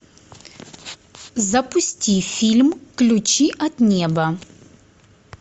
запусти фильм ключи от неба